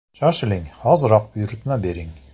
Shoshiling, hoziroq buyurtma bering!